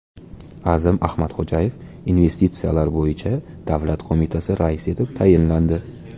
Azim Ahmadxo‘jayev Investitsiyalar bo‘yicha davlat qo‘mitasi raisi etib tayinlandi.